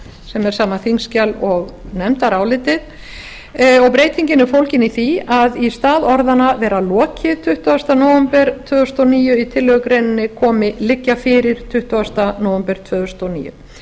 sem er sama þingskjal og nefndarálitið og breytingin er fólgin í því að í stað orðanna að vera lokið þann tuttugasta nóvember tvö þúsund og níu í tillögugreininni komi liggja fyrir tuttugasta nóvember tvö þúsund og níu